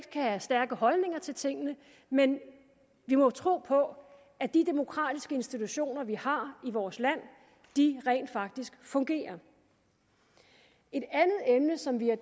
kan have stærke holdninger til tingene men vi må tro på at de demokratiske institutioner vi har i vores land rent faktisk fungerer et andet emne som vi har